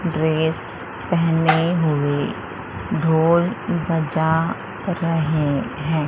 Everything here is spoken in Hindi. ड्रेस पहने हुए ढोल बजा रहे हैं।